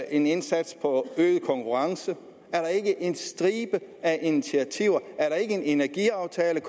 en indsats for øget konkurrenceevne er der ikke en stribe af initiativer er der ikke kommet en energiaftale der